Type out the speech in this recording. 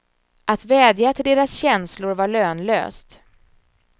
Att vädja till deras känslor var lönlöst.